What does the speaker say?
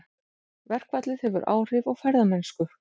Verkfallið hefur áhrif á ferðamennsku